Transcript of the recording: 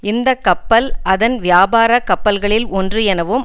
இந்த கப்பல் அதன் வியாபாரக் கப்பல்களில் ஒன்று எனவும்